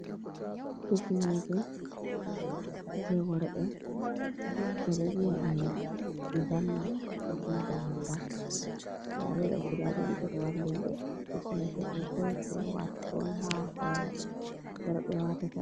"Hifneje" je worɓe ɓeɗo vi'a ɗum zanna koma damanga nda ɗeɗo guda ɗiɗi be wallini ɗe hifneje do bo je watugo on ha hore worɓe watata.